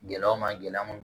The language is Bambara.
Gɛlɛya o ma gɛlɛya mun